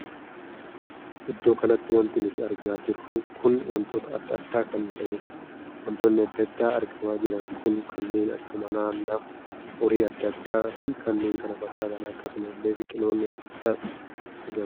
Iddoo kanatti wanti nutti argamaa jiru kun wantoota addaa addaa kan tahedha. wantootni addaa addaa argamaa jiran kun kanneen akka mana, nama, horii addaa addaa fi kanneen kan fakkaatanidha. akkasuma illee biqiloonni addaa addaas argamaa jiru.